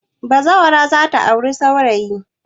Bazawara za ta auri saurayi.